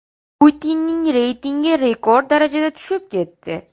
Putinning reytingi rekord darajada tushib ketdi.